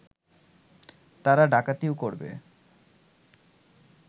তারা ডাকাতিও করবে